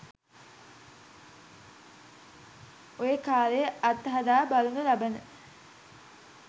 ඔය කාලයේ අත් හදා බලනු ලබන